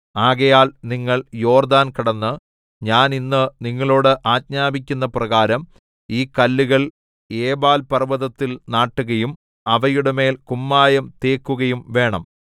ആകയാൽ നിങ്ങൾ യോർദ്ദാൻ കടന്ന് ഞാൻ ഇന്ന് നിങ്ങളോട് ആജ്ഞാപിക്കുന്ന പ്രകാരം ഈ കല്ലുകൾ ഏബാൽപർവ്വത്തിൽ നാട്ടുകയും അവയുടെമേൽ കുമ്മായം തേക്കുകയും വേണം